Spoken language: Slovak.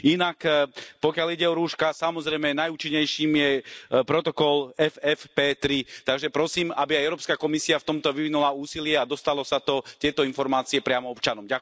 Inak pokiaľ ide o rúška, samozrejme najúčinnejším je protokol FFP3, takže prosím, aby aj Európska komisia v tomto vyvinula úsilie a dostalo sa to, tieto informácie priamo občanom.